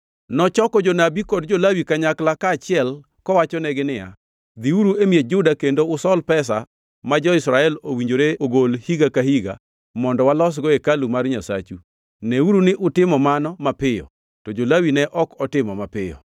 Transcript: Nochoko jonabi kod jo-Lawi kanyakla achiel kowachonegi niya, Dhiuru e miech Juda kendo usol pesa ma jo-Israel owinjore ogol higa ka higa mondo walosgo hekalu mar Nyasachu. Neuru ni utimo mano mapiyo. To jo-Lawi ne ok otimo mapiyo.